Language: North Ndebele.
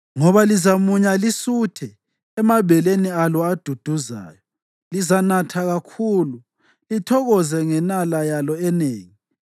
Ngoba lizamunya lisuthe emabeleni alo aduduzayo; lizanatha kakhulu, lithokoze ngenala yalo enengi.”